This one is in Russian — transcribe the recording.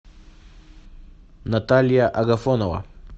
наталья агафонова